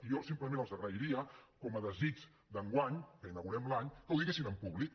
i jo simplement els agrairia com a desig d’enguany que inaugurem l’any que ho diguessin en públic